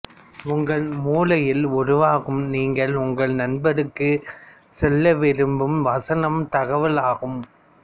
உங்கள் மூளையில் உருவாகும் நீங்கள் உங்கள் நண்பருக்குச் சொல்லவிரும்பும் வசனமே தகவலாகும்